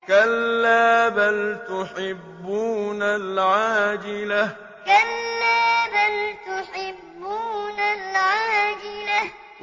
كَلَّا بَلْ تُحِبُّونَ الْعَاجِلَةَ كَلَّا بَلْ تُحِبُّونَ الْعَاجِلَةَ